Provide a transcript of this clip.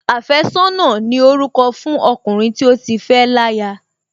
Àfẹ́sọ́nà ni orúkọ fún ọkùnrin tí ó ti fẹ́ láya